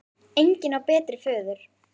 Engin á sér betri föður.